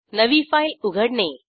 नवी फाईल उघडणे